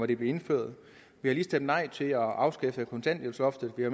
det blev indført vi har lige stemt nej til at afskaffe kontanthjælpsloftet vi har